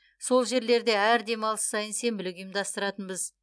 сол жерлерде әр демалыс сайын сенбілік ұйымдастыратынбыз